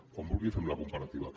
quan vulgui fem la comparativa